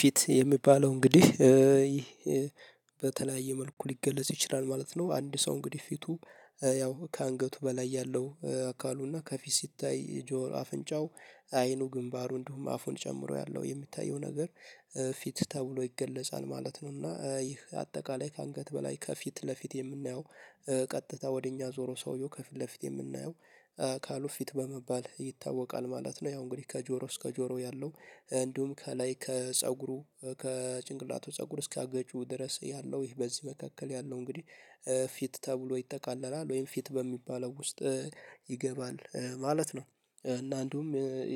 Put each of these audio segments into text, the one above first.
ፊት የሚባለው እንግዲህ በተለያየ መልኩ ሊገለጽ ይችላል ማለት ነው። አንድ ሰው እንግዲህ ፊቱ ያው ከአንገቱ በላይ ያለው አካሉና ከፊት ሲታይ ጆሮው፣ አፍንጫው፣ አይኑ፣ ግንባሩ እንዲሁም አፉን ጨምሮ ያለው የሚታየው ነገር ፊት ተብሎ ይገለጻል ማለት ነው። እና ይህ አጠቃላይ ከአንገት በላይ ከፊት ለፊት የምናየው ቀጥታ ወደ እኛ ዞሮ ሰውየው ከፊት ለፊት የምናየው አካሉ ፊት በመባል ይታወቃል ማለት ነው። ያው እንግዲህ ከጆሮ እስከ ጆሮ ያለው፣ እንዲሁም ከላይ ከጭንቅላቱ ፀጉር እስካገጩ ድረስ ያለው ይሄ በዚህ መካከል ያለው እንግዲህ ፊት ተብሎ ይጠቃለላል ወይም ፊት በሚባለው ውስጥ ይገባል ማለት ነው። እና እንዲሁም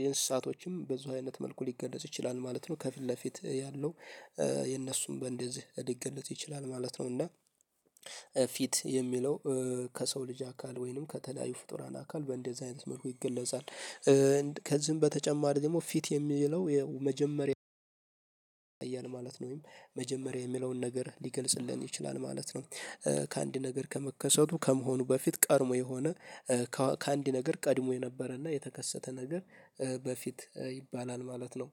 የእንስሳትም በዚህ አይነት መልኩ ሊገለጽ ይችላል ማለት ነው፤ ከፊት ለፊት ያለው የእነሱም በእንደዚህ ሊገለጽ ይችላል ማለት ነው፤ እና ፊት የሚለው፣ ከሰው ልጅ አካል ወይም ከተለያዩ ፍጡራን አካል በእንደዚህ አይነት መልኩ ይገለጻል። ከዚህም በተጨማሪ ደግሞ ፊት የሚለው፣ የመጀመሪያ ማለት ነው ወይም መጀመሪያ የሚለውን ነገር ሊገልጽልን ይችላል ማለት ነው። ከአንድ ነገር ከመከሰቱ ወይም ከመሆኑ በፊት፣ ቀድሞ የሆነ ከአንድ ነገር ቀድሞ የነበረና የተከሰተ ነገር በፊት ይባላል ማለት ነው።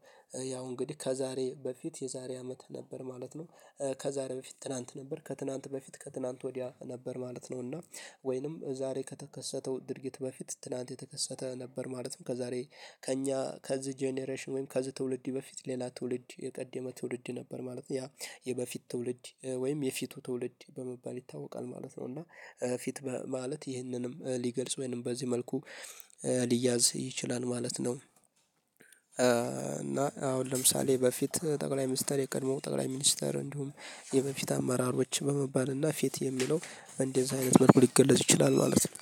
ያው እንግዲህ ከዛሬ በፊት የዛሬ አመት ነበር ማለት ነው፤ ከዛሬ በፊት ትናንት ነበር፤ ከትናንት በፊት ከትናንት ወዲያ ነበር ማለት ነው፤ እና ወይንም ዛሬ ከተከሰተው ድርጊት በፊት ትናንት የተከሰተ ነበር ማለት ነው። ከዛሬ ከእኛ ከዚህ ጄኔሬሽን ወይም ከዚህ ትውልድ በፊት ሌላ ትውልድ፣ የቀደመ ትውልድ ነበር ማለት ነው። ያ የበፊት ትውልድ ወይም የፊቱ ትውልድ በመባል ይታወቃል ማለት ነው፤ እና ፊት ማለት ይህንንም ሊገልጽ ወይም በዚህ መልኩ ሊያዝ ይችላል ማለት ነው። እና አሁን ለምሳሌ በፊት ጠቅላይ ሚኒስተር የቀድሞ ጠቅላይ ሚኒስትር እንዲሁም የበፊት አመራሮች በመባል እና ፊት የሚለው እንደዚህ አይነት መልኩ ሊገለጽ ይችላል ማለት ነው።